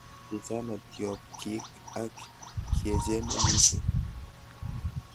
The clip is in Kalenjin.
Kichana tiobgik ak kiechene mising